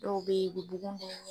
Dɔw be ye e be bugun da u ɲɛ